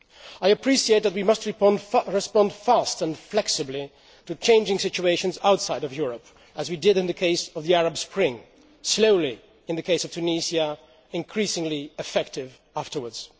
I appreciate that we must respond quickly and flexibly to changing situations outside Europe, as we did in the case of the Arab Spring slowly in the case of Tunisia, but increasingly effective afterwards.